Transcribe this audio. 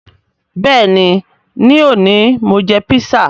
Bẹẹni, ni òní Mo jẹ písà